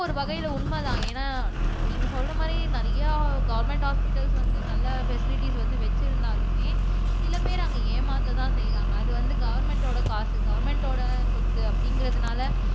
ஒரு வகையிலே உண்மைதான் ஏன்னா நீங்க சொல்ற மாதிரி நிறையா கவெர்மென்ட் ஹொஸ்பிடல்ஸ் வந்து நல்ல பேஷாலிட்டிஸ் வந்து வச்சிருந்தாலுமே சில பேர் அங்க ஏமாத்த தான் செய்றாங்க அது வந்து கவெர்மென்ட்டோட காசு கவெர்மென்ட்டோட சொத்து அப்படிங்கறதுனால